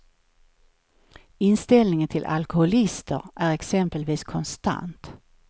Inställningen till alkoholister är exempelvis konstant.